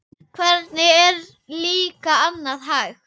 Hvernig er líka annað hægt?